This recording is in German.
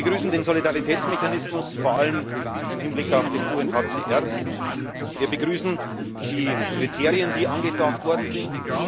Wir begrüßen den Solidaritätsmechanismus, vor allem im Hinblick auf den UNHCR, wir begrüßen die Kriterien, die angedacht worden sind.